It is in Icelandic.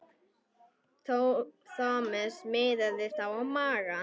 Thomas miðaði þá á magann.